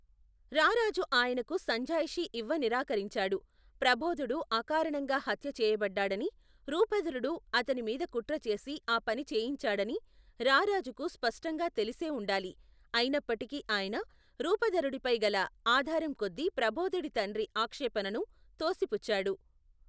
రారాజు ఆయనకు సంజాయిషీ ఇవ్వనిరాకరించాడు ప్రబోధుడు అకారణంగా హత్యచేయబడ్డాడనీ రూపధరుడు అతని మీద కుట్రచేసి ఆ పని చేయించాడనీ రారాజుకు స్పష్టంగా తెలిసే ఉండాలి అయినప్పటికీ ఆయన రూపధరుడిపై గల ఆదారంకొద్ది ప్రబోధుడి తండ్రి ఆక్షేపణను తోసిపుచ్చాడు.